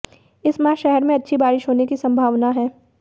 इस माह शहर में अच्छी बारिश होने की संभावना है